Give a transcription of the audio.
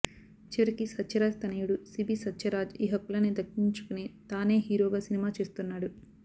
చివరికి సత్య రాజ్ తనయుడు శిబి సత్యరాజ్ ఈ హక్కులని దక్కించుకుని తానే హీరోగా సినిమా చేస్తున్నాడు